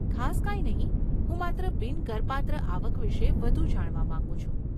ખાસ કંઈ નહીં, હું માત્ર બિન કરપાત્ર આવક વિશે વધુ જાણવા માગું છું.